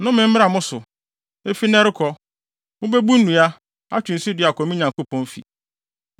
Nnome mmra mo so! Efi nnɛ rekɔ, mubebu nnua, atwe nsu de akɔ me Nyankopɔn fi.”